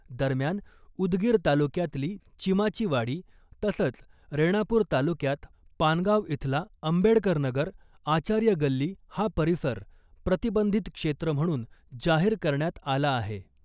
दरम्यान , उदगीर तालुक्यातली चिमाची वाडी , तसंच रेणापूर तालुक्यात पानगाव इथला आंबेडकर नगर , आचार्य गल्ली हा परिसर प्रतिबंधित क्षेत्र म्हणून जाहीर करण्यात आला आहे .